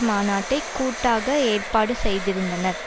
மாநாட்டை கூட்டாக ஏற்பாடு செய்திருந்தனர்